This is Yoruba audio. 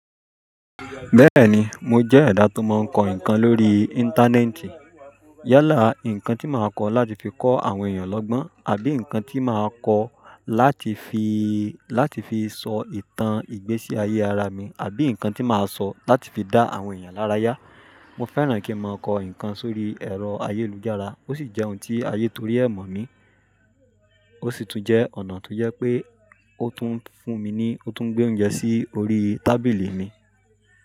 Bẹ́ẹ̀ni mo jẹ́ ẹ̀dá tó máa n kọ nǹkan lórí Íńtánẹ́ẹ̀tì. Yálà, nǹkan tí màá kọ láti fi kọ àwọn èèyàn lọ́gbọ́n àbí nǹkan tí màá kọ láti fi, láti fi sọ ìtàn ìgbésí ayé ara mi àbí nǹkan tí màá sọ láti fi dá àwọn èèyàn lára yá. Mo fẹ́ràn kí n máa kọ nǹkan sórí ẹ̀rọ ayélujára, ó sì jẹ́ ohun tí ayé tó rí ẹ̀ mọ̀ mi, ó sì tún jẹ́ ọ̀nà tó jẹ́ pé ó tún fún mi ní, ó tún gbé oúnjẹ sí orí tábìlì mi.